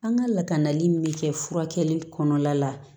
An ka lakanali min bɛ kɛ furakɛli kɔnɔna la